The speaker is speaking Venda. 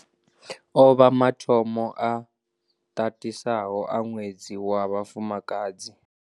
Ovha mathomo a tatisaho a Ṅwedzi wa Vhafumakadzi.